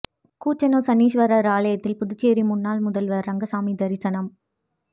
குச்சனூா் சனீஸ்வரா் ஆலயத்தில் புதுச்சேரி முன்னாள் முதல்வா் ரெங்கசாமி தரிசனம்